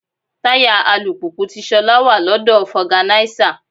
Táyà alùpùpù ti Ṣolá wà lọ́dọ̀ foganisa.